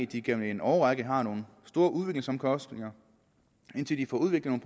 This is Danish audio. de igennem en årrække har nogle store udviklingsomkostninger indtil de får udviklet